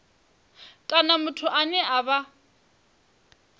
kana muthu ane a vha